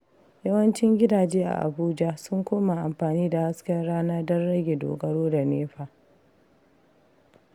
Yawancin gidaje a Abuja sun koma amfani da hasken rana don rage dogaro da NEPA.